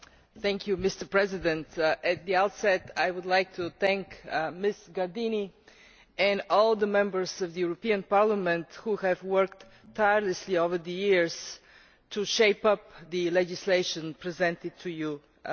Mr President, at the outset I would like to thank Ms Gardini and all the Members of the European Parliament who have worked tirelessly over the years to shape the legislation presented to you today.